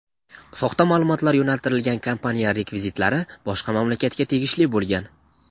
soxta ma’lumotlar yo‘naltirilgan kompaniya rekvizitlari boshqa mamlakatga tegishli bo‘lgan.